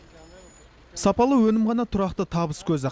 сапалы өнім ғана тұрақты табыс көзі